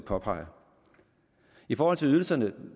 påpeger i forhold til ydelserne